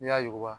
N'i y'a yuguba